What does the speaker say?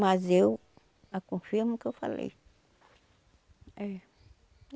Mas eu a confirmo que eu falei. É